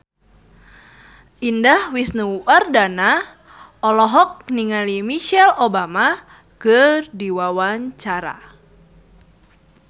Indah Wisnuwardana olohok ningali Michelle Obama keur diwawancara